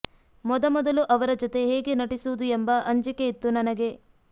ಮೊದ ಮೊದಲು ಅವರ ಜತೆ ಹೇಗೆ ನಟಿಸುವುದು ಎಂಬ ಅಂಜಿಕೆ ಇತ್ತು ನನಗೆ